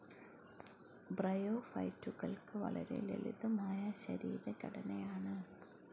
ബ്രയോഫൈറ്റുകൾക്ക് വളരെ ലളിതമായ ശരീരഘടനയാണ്.